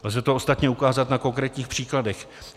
Lze to ostatně ukázat na konkrétních příkladech.